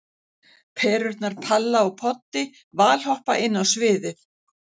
Perurnar Palla og Poddi valhoppa inn á sviðið.